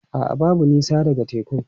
A'a, babu nisa daga tekun.